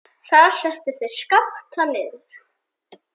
Þar settu þeir Skapta niður.